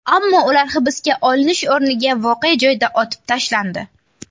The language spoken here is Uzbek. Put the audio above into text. Ammo ular hibsga olinish o‘rniga voqea joyida otib tashlandi.